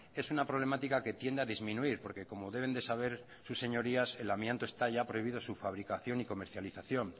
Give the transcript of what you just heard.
es una problemática que tiende a disminuir porque como deben de saber sus señorías el amianto está ya prohibido su fabricación y su comercialización